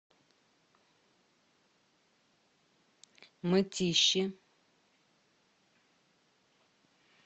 мытищи